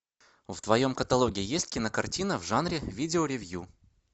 в твоем каталоге есть кинокартина в жанре видеоревью